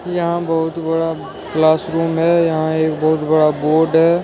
यहां बहुत बड़ा क्लासरूम है यहां एक बहुत बड़ा बोर्ड है।